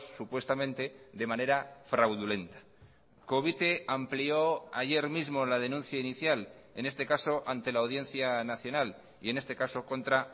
supuestamente de manera fraudulenta covite amplió ayer mismo la denuncia inicial en este caso ante la audiencia nacional y en este caso contra